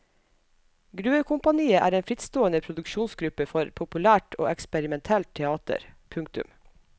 Gruvekompaniet er en frittstående produksjonsgruppe for populært og eksperimentelt teater. punktum